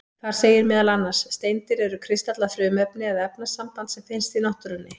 Þar segir meðal annars: Steindir eru kristallað frumefni eða efnasamband sem finnst í náttúrunni.